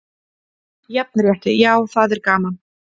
Jafnrétti já, það er gaman.